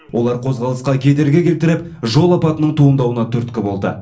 олар қозғалысқа кедергі келтіріп жол апатының туындауына түрткі болды